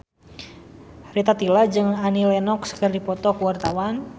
Rita Tila jeung Annie Lenox keur dipoto ku wartawan